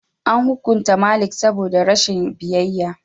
An hukunta Malik saboda rashin biyayya.